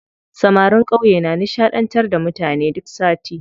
Samarin ƙauye na nishaɗantar da mutane duk sati.